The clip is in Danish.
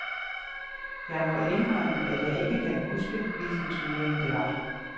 Jeg må indrømme, at jeg ikke kan huske, hvilken turnering det var.